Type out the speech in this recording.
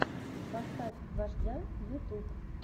поставь вождя ютюб